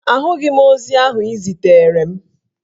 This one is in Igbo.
Ahụghị m ozi ahụ ị ziteere m